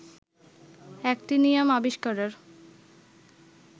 actinium আবিস্কারের